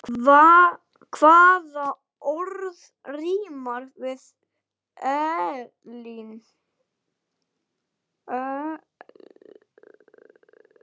Hvaða orð rímar við Elín?